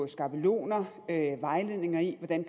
skabeloner og vejledninger i hvordan